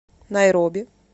найроби